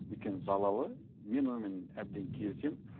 өйткені залалы мен онымен әбден келісемін